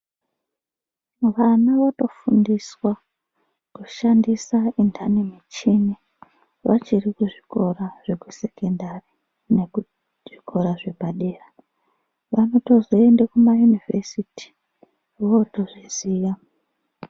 Vana votofundiswa kushandisa untani muvhini vachiri kuzvikora zvekusekondari nekuzvikora zvepadera vanotozoende kumayunivhesiti votozviziya.